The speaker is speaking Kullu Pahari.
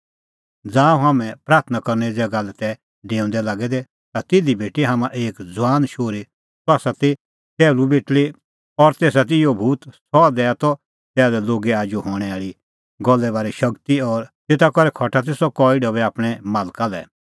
ज़ांऊं हाम्हैं प्राथणां करने ज़ैगा लै तै डेऊंदै लागै दै ता तिधी भेटी हाम्हां एक ज़ुआन शोहरी सह ती टैहलू बेटल़ी और तेसा ती इहअ भूत सह दैआ त तैहा लै लोगे आजू हणैं आल़ी गल्ले बारै शगती और तेता करै खटा ती सह कई ढबै आपणैं मालका लै